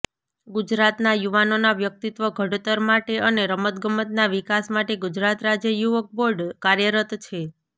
ગુજરાતના યુવાનોના વ્યક્ત્વિ ઘડતર માટે અને રમતગમતના વિકાસ માટે ગુજરાત રાજ્ય યુવક બોર્ડ કાર્યરત છે